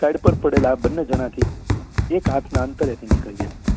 side પર પડેલા આ બંને જના થી એક હાથ ના અંતરે થી નીકળી ગયો